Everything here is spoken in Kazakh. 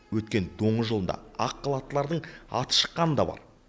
өткен доңыз жылында ақ халаттылардың аты шыққаны да бар